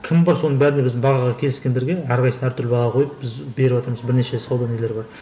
кім бар соның бәріне біздің бағаға келіскендерге әрқайсысына әртүрлі баға қойып біз беріватырмыз бірнеше сауда нелері бар